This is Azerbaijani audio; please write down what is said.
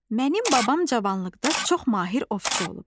Mənim babam cavanlıqda çox mahir ovçu olub.